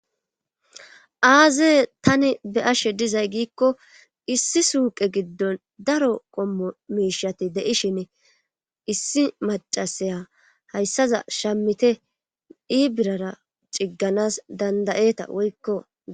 aaze tani be ashe dizay giikko issi suuqe giddon daro qommo miishati de7ishine issi macasaya hayssaza shammite dii birara cigganas dandayeeta woykko